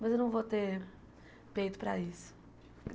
Mas eu não vou ter peito para isso.